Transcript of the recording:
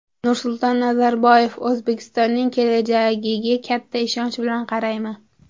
Nursulton Nazarboyev: O‘zbekistonning kelajagiga katta ishonch bilan qarayman.